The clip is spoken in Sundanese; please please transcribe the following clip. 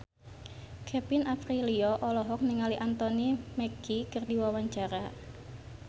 Kevin Aprilio olohok ningali Anthony Mackie keur diwawancara